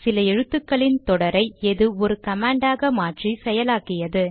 சில எழுத்துக்களின் தொடரை எது ஒரு கமாண்ட் ஆக மாற்றி செயலாக்கியது